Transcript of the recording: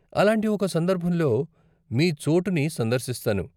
అలాంటి ఒక సందర్భంలో మీ చోటుని సందర్శిస్తాను.